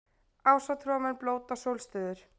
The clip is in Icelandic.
Ásatrúarmenn blóta sólstöður